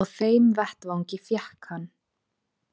Á þeim vettvangi fékk hann.